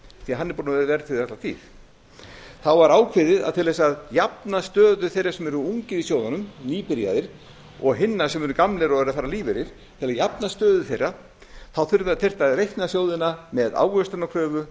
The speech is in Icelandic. því hann er búinn að vera verðtryggður alla tíð þá var ákveðið að til að jafna stöðu þeirra sem eru ungir í sjóðunum nýbyrjaðir og hinna sem eru gamlir og eru að fara á lífeyri til að jafna stöðu þeirra þá þyrfti að reikna sjóðina með ávöxtunarkröfu